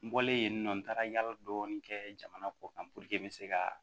N bɔlen yen nɔ n taara yala dɔɔni kɛ jamana kɔ kan puruke n bɛ se ka